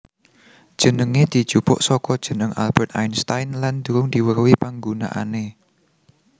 Jenengé dijupuk saka jeneng Albert Einstein lan durung diweruhi panggunaané